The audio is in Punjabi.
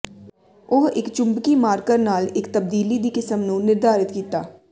ਉਹ ਇੱਕ ਚੁੰਬਕੀ ਮਾਰਕਰ ਨਾਲ ਇੱਕ ਤਬਦੀਲੀ ਦੀ ਕਿਸਮ ਨੂੰ ਨਿਰਧਾਰਿਤ ਕੀਤਾ